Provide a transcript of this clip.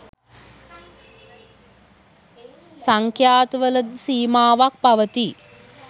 සංඛ්යාත වලද සීමාවක් පවතී